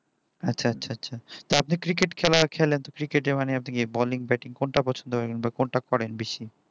আচ্ছা আচ্ছা আচ্ছা তো আপনি cricket খেলা খেলেন তো cricket এ মানে আপনি কিয়ে balling batting কোনটা পছন্দ করেন বা কোনটা করেন বেশি